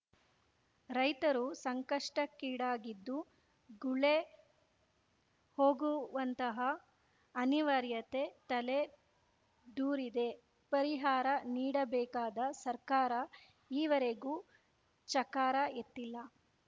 ರೈತರು ಸಂಕಷ್ಟಕ್ಕೀಡಾಗಿದ್ದು ಗುಳೆ ಹೋಗುವಂತಹ ಅನಿವಾರ್ಯತೆ ತಲೆ ದೂರಿದೆ ಪರಿಹಾರ ನೀಡಬೇಕಾದ ಸರ್ಕಾರ ಈವರೆಗೂ ಚಕಾರ ಎತ್ತಿಲ್ಲ